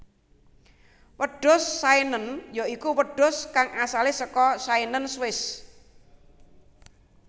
Wedhus Saenen ya iku wedhus kang asalé saka Saenen Swiss